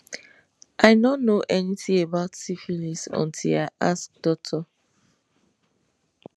i no know anything about syphilis until i ask doctor